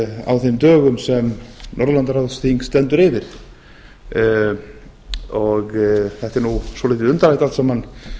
á þeim dögum sem norðurlandaráðsþing stendur yfir þetta er nú svolítið undarlegt allt saman